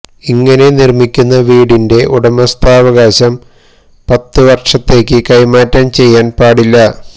ഇങ്ങനെ നിര്മിക്കുന്ന വീടിന്റെ ഉടമസ്ഥാവകാശം പത്തു വര്ഷത്തേക്ക് കൈമാറ്റം ചെയ്യാന് പാടില്ല